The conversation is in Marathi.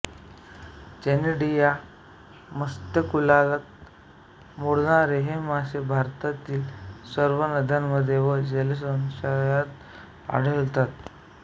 चॅनिडी या मत्स्यकुलात मोडणारे हे मासे भारतातील सर्व नद्यांमध्ये व जलशयांत आढळतात